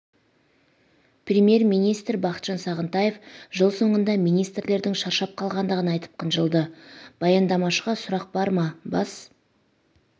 жел премьер-министрі бақытжан сағынтаев жыл соңында министрлердің шарап қалғандығын айтып қынжылды баяндамашыға сұрақ бар ма бас